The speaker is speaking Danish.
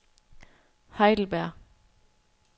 Heidelberg